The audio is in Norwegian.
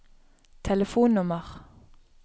telefonnummer